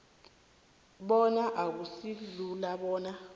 bona akusilula bona